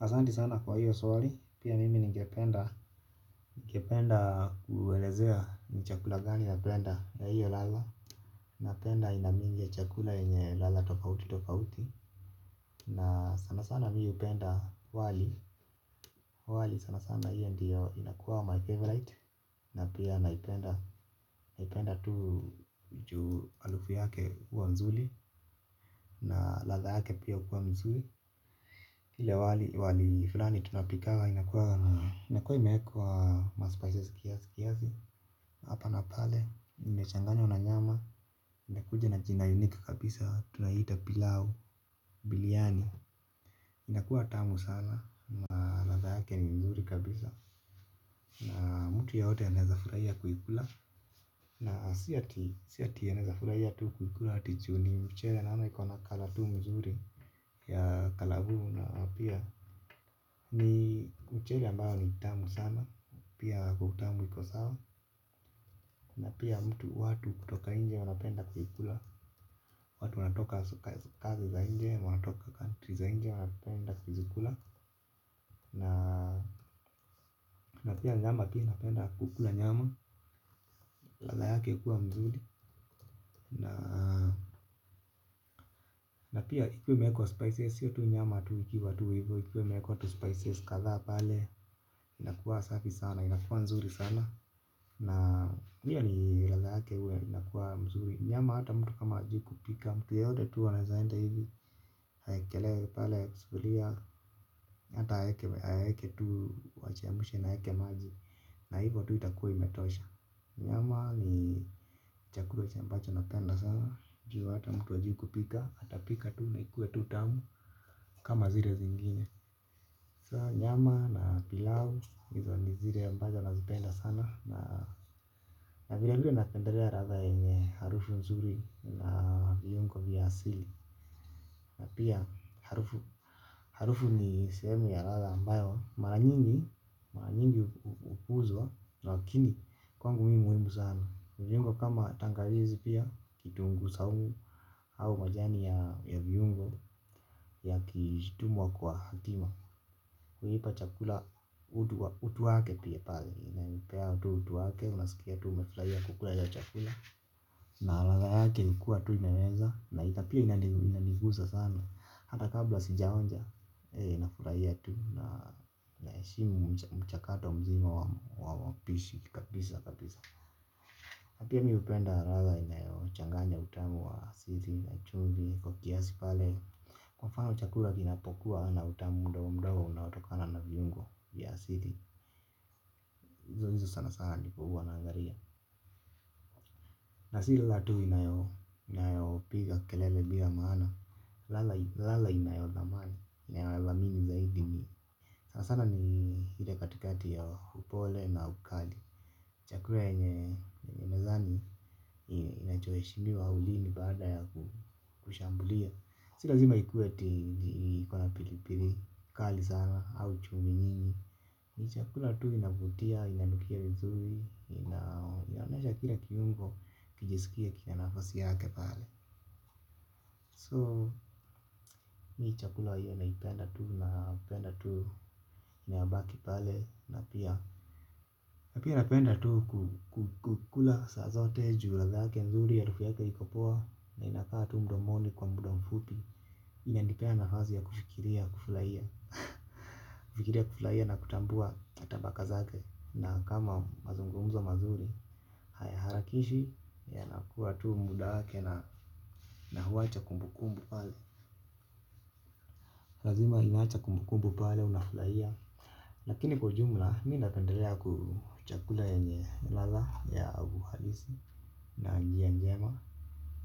Asanti sana kwa hiyo swali, pia mimi ningependa, ningependa kuelezea ni chakula gani na penda ya hiyo ladha. Napenda aina mingi ya chakula yenye ladha tofauti tofauti. Na sana sana mi hupenda wali, wali sana sana hiyo ndio inakuwa my favorite. Na pia naipenda, naipenda tu juu halufu yake huwa nzuri na ladha yake pia hukuwa mzuri ile wali fulani tunapikanga inakua inakua imewekwa ma spices kiasi. Hapa na pale inechanganywa na nyama. Inakuja na jina unique kabisa tunaiita pilau biliani. Inakuwa tamu sana na radha yake ni mzuri kabisa. Na mtu yeyote anaeza furahia kuikula. Na si ati anaezafurahia tu kuikula ati juu ni mchele naoana iko na kala tu mzuri. Ya kalavu na pia ni mchele ambayo ni tamu sana. Pia kwa utamu iko sawa. Na pia mtu watu kutoka nje wanapenda kuikula. Watu wanatoka kazi za nje wanatoka country za nje wanapenda kuzikula. Na pia nyama pia napenda kukula nyama. Ladha yake ikiwa mzuri. Na pia ikiwa imewekwa spices hiyo tu nyama tu ikiwa tu hivo. Ikiwa imewekwa tu spices kadhaa pale inakuwa safi sana inakuwa nzuri sana. Na hiyo ni radha yake huwa inakuwa mzuri. Nyama hata mtu kama hajui kupika mtu yeyote tu anaezaenda hivi aekelee pale sufuria. Hata aweke tu wachemushe na hake maji. Na hivo tu itakuwa imetosha. Nyama ni chakula ambacho na penda sana. Juu hata mtu hajui kupika ata pika tu na ikue tu tamu. Kama zile zingine. Saa nyama na pilau. Hizo ni zile ambazo na zipenda sana. Na vile vile napendelea radha yenye harufu nzuri na viungo vya asili. Na pia harufu ni sehemu ya radha ambayo mara nyingi upuzwa. Lakini kwangu mi muhimu sana. Viungo kama tangawizi pia kitungu saumu au majani ya viungo. Yakitumwa kwa hatima. Kuipa chakula utu wake pia pale inanipea utu tu wake unasikia tu umefurahia kukula ya uchakula na ladha yake ikikua imeweza na pia inanigusa sana hata kabla sijaonja nafurahia tu na na heshimu mchakato mzima wapishi kabisa kabisa pia mi hupenda ladha inayochanganya utamu wa asili na chumvi kwa kiasi pale kwa mfano chakula kinapokuwa na utamu mdogo mdogo unaotokana na viungo ya asili hizo hizo sana sana ndivo hua naangalia. Na sila tu inayopiga kelele bila maana, lala inayo dhamana inayodhamini zaidi ni sana sana ni ile katikati ya upole na ukali. Chakula enye mezani inachoheshimiwa ulini baada ya kushambulia. Si lazima ikuwe iko na pilipili, kali sana au chumvi nyingi. Mi chakula tu inavutia, inanukia vizuri, inaonyesha kila kiungo, kijisikia kina nafasi yake pale So mi chakula hiyo naipenda tu, napenda tu inayobaki pale na pia. Na pia napenda tu kukula saa zote, juu ladha, nzuri, ya harufu yake iko poa. Na inakaa tu mdomoni kwa muda mfupi. Inanipea nafasi ya kufikiria, kufurahia, kufikiria, kufurahia na kutambua tabaka zake. Na kama mazungumzo mazuri. Hayaharakishi. Yanakuwa tu muda wake na huwacha kumbukumbu pale. Lazima inaacha kumbukumbu pale. Unafurahia. Lakini kwa ujumla. Mi napendelea ku chakula yenye ladha ya uhalisi. Na njia njema.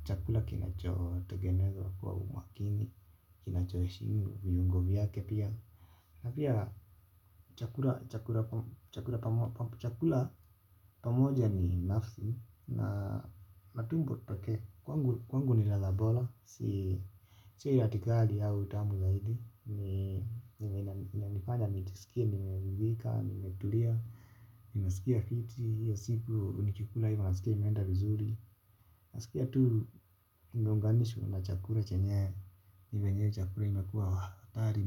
Chakula kinacho tegenezwa kwa umakini. Kinachoheshimu viungo vyake pia. Na pia chakula. Chakula pamoja ni nafsi na matumbo pekee kwangu ni ladha bora si ati ni kali au utamu zaidi ni inanifanya nijiskie nimeudhika nimetulia nimesikia fiti, hiyo siku nikikula hivo naskia nimeenda vizuri naskia tu ingeunganishwa na chakula chenyewe ni venye hio chakula imekua hatari.